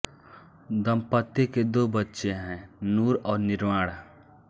दंपति के दो बच्चे हैं नूर और निर्वाण